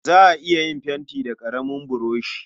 Za a iya yin fenti da ƙaramin buroshi.